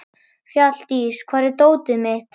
Fjalldís, hvar er dótið mitt?